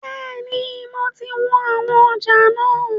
Bẹ́ẹ̀ni, mo ti wọn àwọn ọjà náà.